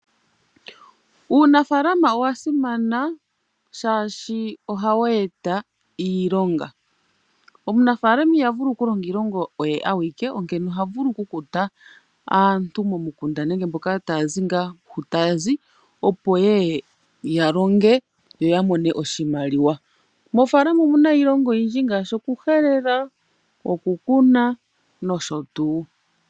Uunafaalama owa simana shaashi ohawu e ta iilonga. Omunafaalama iha vulu oku longa iilonga oye awike, onkene oha vulu oku kuta aantu momukunda nenge mboka taya zi ngaa hu taya zi, opo yeye ya longe yo ya mone oshimaliwa. Moofaalama omuna iilonga oyindji ngaashi oku helela, oku kuna nosho tuu.